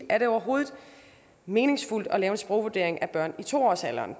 er det overhovedet meningsfuldt at lave en sprogvurdering børn i to årsalderen